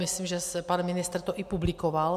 Myslím, že pan ministr to i publikoval.